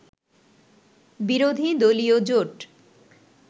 বিরোধী দলীয় জোট